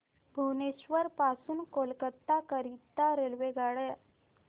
भुवनेश्वर पासून कोलकाता करीता रेल्वेगाड्या